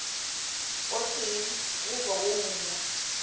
o tee goba wo mongwe